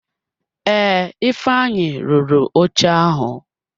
Ee, ifeanyi rụrụ oche ahụ.